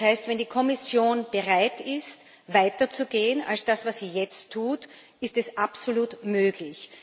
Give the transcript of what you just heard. Das heißt, wenn die Kommission bereit ist, weiter zu gehen als das, was sie jetzt tut, ist es absolut möglich.